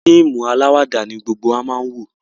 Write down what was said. fíìmù alawada ní gbógbó wá má wọ.